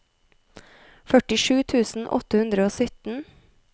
førtisju tusen åtte hundre og sytten